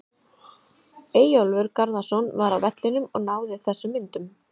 Eyjólfur Garðarsson var á vellinum og náði þessum myndum.